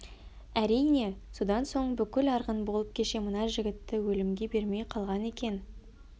әрине содан соң бүкіл арғын болып кеше мына жігітті өлімге бермей қалған екен